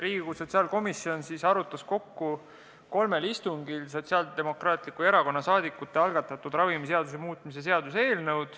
Riigikogu sotsiaalkomisjon arutas kokku kolmel istungil Sotsiaaldemokraatliku Erakonna saadikute algatatud ravimiseaduse muutmise seaduse eelnõu.